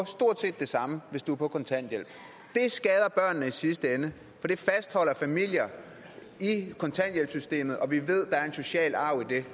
stort set det samme hvis du er på kontanthjælp det skader børnene i sidste ende for det fastholder familier i kontanthjælpssystemet og vi ved at der er en social arv i det